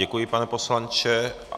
Děkuji, pane poslanče.